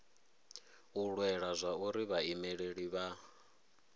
u lwela zwauri vhaimeleli vha